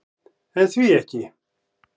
En því ekki?